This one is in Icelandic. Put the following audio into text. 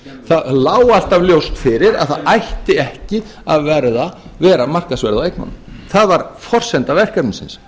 það lá alltaf ljóst fyrir að það ætti ekki að vera markaðsverð á eignunum það var forsenda verkefnisins